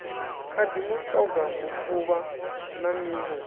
khadi mutoga mufuvha na miṋwe